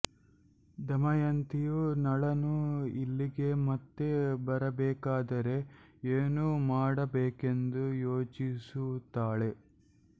ದಮಯಂತಿಯು ನಳನು ಇಲ್ಲಿಗೆ ಮತ್ತೆ ಬರಬೇಕಾದರೆ ಏನೂ ಮಾಡಬೇಕೆಂದು ಯೋಚಿಸುತ್ತಾಳೆ